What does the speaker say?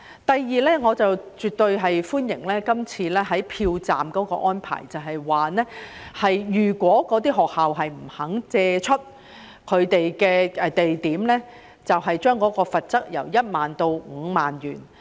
第二，我絕對歡迎這次有關票站的安排，便是如果學校不肯借出場地，便將罰款由1萬元增至5萬元。